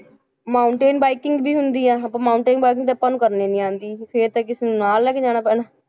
Mountain biking ਵੀ ਹੁੰਦੀ ਹੈ ਆਪਾਂ mountain biking ਤੇ ਆਪਾਂ ਨੂੰ ਕਰਨੀ ਨੀ ਆਉਂਦੀ ਤੇ ਫਿਰ ਤਾਂ ਕਿਸੇ ਨੂੰ ਨਾਲ ਲੈ ਕੇ ਜਾਣਾ ਪੈਣਾ,